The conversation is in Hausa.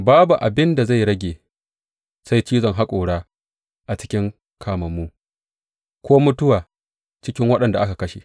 Babu abin da zai rage sai cizon haƙora a cikin kamammu ko mutuwa cikin waɗanda aka kashe.